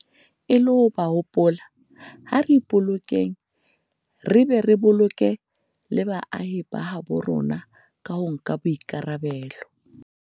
E le ho ba hopola, ha re ipolokeng re be re boloke le baahi ba habo rona ka ho nka boikarabelo.